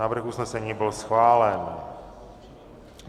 Návrh usnesení byl schválen.